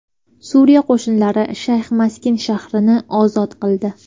Suriya qo‘shinlari Shayx Maskin shahrini ozod qildi.